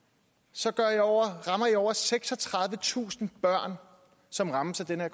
så rammer i over seksogtredivetusind børn som rammes af den her